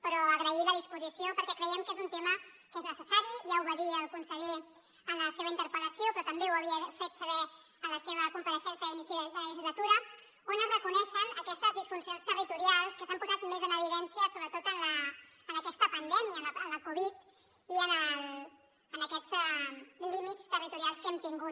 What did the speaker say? però agrair la disposició perquè creiem que és un tema que és necessari ja ho va dir el conseller en la seva interpel·lació però també ho havia fet saber en la seva compareixença a l’inici de legislatura on es reconeixen aquestes disfuncions territorials que s’han posat més en evidència sobretot en aquesta pandèmia amb la covid i en aquests lí·mits territorials que hem tingut